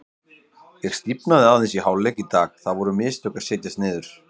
Ég stífnaði aðeins í hálfleik í dag, það voru mistök að setjast niður.